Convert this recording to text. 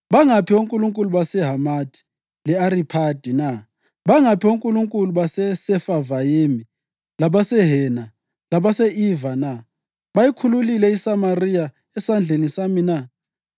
Bangaphi onkulunkulu baseHamathi le-Ariphadi na? Bangaphi onkulunkulu baseSefavayimi labaseHena labase-Iva na? Bayikhululile iSamariya esandleni sami na?